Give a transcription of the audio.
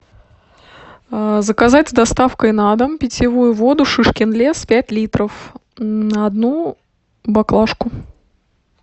заказать с доставкой на дом питьевую воду шишкин лес пять литров одну баклашку